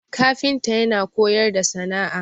kafinta yana koyar da sana'a